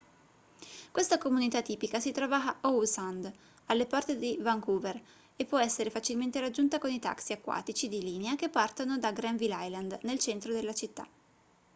questa comunità tipica si trova a howe sound alle porte di vancouver e può essere facilmente raggiunta con i taxi acquatici di linea che partono da granville island nel centro della città